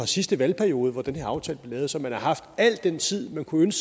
sidste valgperiode at den her aftale blev lavet så man har haft al den tid man kunne